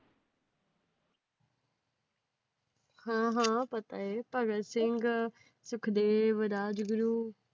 ਹਾਂ ਹਾਂ ਪਤਾ ਏ, ਭਗਤ ਸਿੰਘ, ਸੁਖਦੇਵ, ਰਾਜਗੁਰੂ